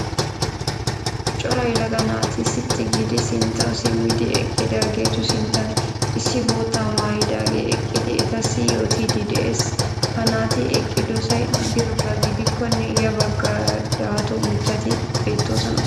Cora yelaga naati sitti giidi sinttawu simmidi eqqidaageetu sinttan issi boottaa maayidaagee eqqidi etasssi yootiiddi de'ees. Ha naati eqqidosay drmbba gidikkonne ya baggaara dato mittati beettoosona.